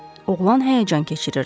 Oğlan həyəcan keçirirdi.